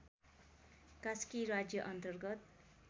कास्की राज्य अन्तर्गत